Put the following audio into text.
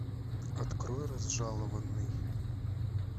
открой разжалованный